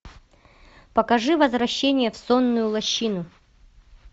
покажи возвращение в сонную лощину